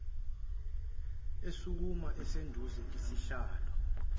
esukuma esunduza isihlalo